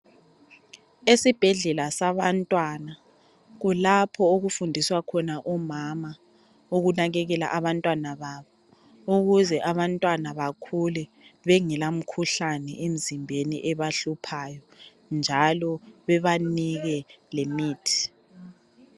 Esibhedlela sabantwana kulapho okufundiswa khona omama ukunakekela abantwana babo ukuze abantwana bakhula bengela mkhuhlane emzimbeni ebahluphayo njalo bebanike lemithi.